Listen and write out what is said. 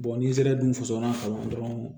n'i sera dunsɔnna kalan na dɔrɔn